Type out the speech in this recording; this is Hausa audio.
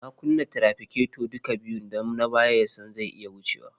Na kunna tirafiketo duka biyun don na baya na ya san zai iya wuce ni.